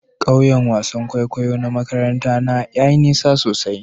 Kauyen wasan kwaikwayo na makarantar na yayi nisa sosai.